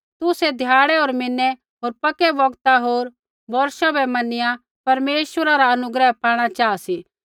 तुसै ध्याड़ै होर म्हीनै होर पक्के बौगता होर बोर्षा बै मैनिया परमेश्वरा रा अनुग्रह पाणा चाहा सी